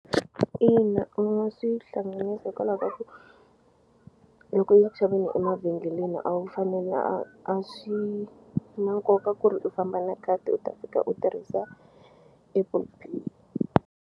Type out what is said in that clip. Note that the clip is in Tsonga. Ina u nga swi hlanganisa hikwalaho ka ku loko u ya ku xaveni emavhengeleni a wu a swi na nkoka ku ri u famba na khadi u ta fika u tirhisa Apple Pay.